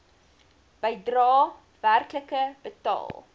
bedrae werklik betaal